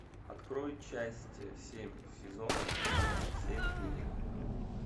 открой часть семь сезона семь клиника